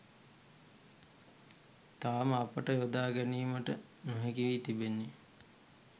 තවම අපට යොදා ගැනීමට නොහැකි වී තිබෙන්නේ